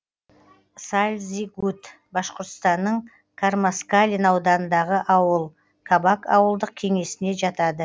сальзигут башқұртстанның кармаскалин ауданындағы ауыл кабак ауылдық кеңесіне жатады